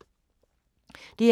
DR2